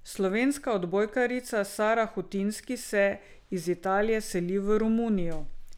Slovenska odbojkarica Sara Hutinski se iz Italije seli v Romunijo.